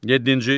Yeddinci.